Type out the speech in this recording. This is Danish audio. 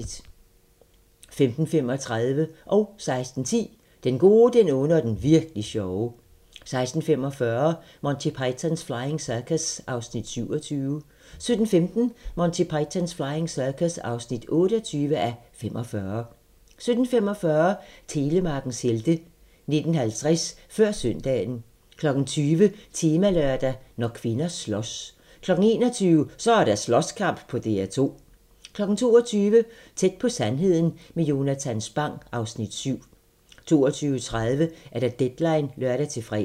15:35: Den gode, den onde og den virk'li sjove 16:10: Den gode, den onde og den virk'li sjove 16:45: Monty Python's Flying Circus (27:45) 17:15: Monty Python's Flying Circus (28:45) 17:45: Telemarkens helte 19:50: Før søndagen 20:00: Temalørdag: Når kvinder slås 21:00: Så er der slåskamp på DR2! 22:00: Tæt på sandheden med Jonatan Spang (Afs. 7) 22:30: Deadline (lør-fre)